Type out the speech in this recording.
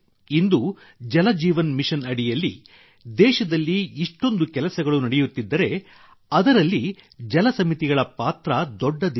ಇಂದು Jal Jeevan mission ಅಡಿಯಲ್ಲಿ ದೇಶದಲ್ಲಿ ಇಷ್ಟೊಂದು ಕೆಲಸಗಳು ನಡೆಯುತ್ತಿದ್ದರೆ ಅದರಲ್ಲಿ ಜಲ ಸಮಿತಿಗಳ ಪಾತ್ರ ದೊಡ್ಡದಿದೆ